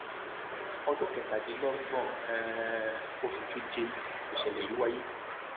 ọjọ kẹtàdínlọgbọn um oṣù keje nìṣẹlẹ yìí wáyé